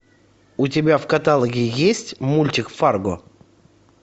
у тебя в каталоге есть мультик фарго